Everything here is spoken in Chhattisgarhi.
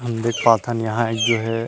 हम देख पाथन यहाँ एक जो है।